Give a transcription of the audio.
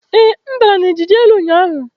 Ee, m dara na ijiji n'elu ụnyaahụ.